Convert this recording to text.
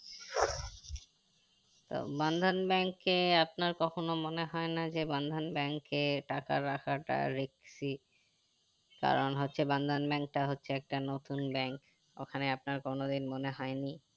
তো bandhan bank এ আপনার কখনো মনে হয় না যে bandhan bank এ টাকা রাখা টা risky কারণ হচ্ছে bandhan bank টা হচ্ছে একটা নতুন bank ওখানে আপনার কোনো দিন মনে হয়নি